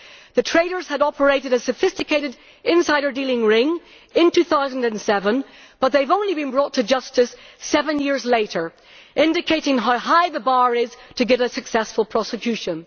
The traders had operated a sophisticated insider dealing ring in 2007 but they have only been brought to justice seven years later, indicating how high the bar is to get a successful prosecution.